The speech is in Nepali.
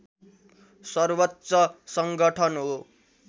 सर्वोच्च सङ्गठन हो